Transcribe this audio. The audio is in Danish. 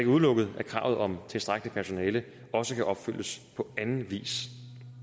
udelukket at kravet om tilstrækkeligt personale også kan opfyldes på anden vis